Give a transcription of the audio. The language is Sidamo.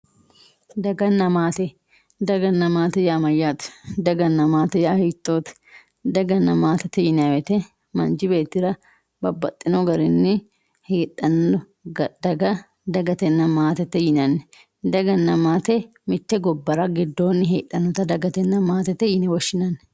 Dagana maate, dagana maate yaa mayyate daganna maate yaa hiittote dagana maatete yinanni woyte manchu beetti babbaxxino garini heedhani dagatena maatete yinanni ,dagana maate mite gobbara heedhanotta dagana maatete yine woshshinanni.